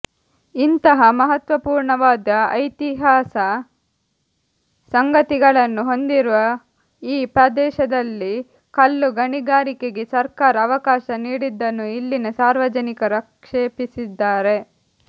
ಇಂತಹ ಮಹತ್ವಪೂರ್ಣವಾದ ಐತಿಹಾಸ ಸಂಗತಿಗಳನ್ನು ಹೊಂದಿರುವ ಈ ಪ್ರದೇಶದಲ್ಲಿ ಕಲ್ಲು ಗಣಿಗಾರಿಕೆಕೆ ಸರ್ಕಾರ ಅವಕಾಶ ನೀಡಿದ್ದನ್ನು ಇಲ್ಲಿನ ಸಾರ್ವಜನಿಕರು ಆಕ್ಷೇಪಿಸಿದ್ದಾರೆ